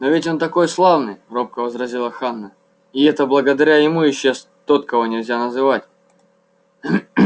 но ведь он такой славный робко возразила ханна и это благодаря ему исчез тот кого нельзя называть